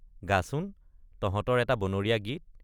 গাচোন তহঁতৰ এটা বনৰীয়া গীত।